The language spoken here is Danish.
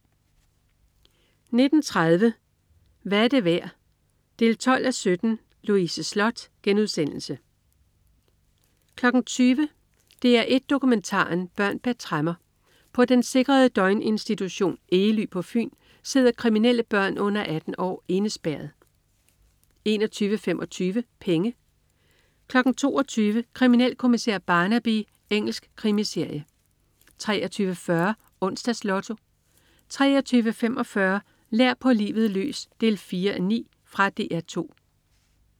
19.30 Hvad er det værd? 12:17 Louise Sloth * 20.00 DR1 Dokumentaren. Børn bag tremmer. På den sikrede døgninstitution Egely på Fyn sidder kriminelle børn under 18 år indespærret 21.25 Penge 22.00 Kriminalkommissær Barnaby. Engelsk krimiserie 23.40 Onsdags Lotto 23.45 Lær på livet løs 4:9. Fra DR 2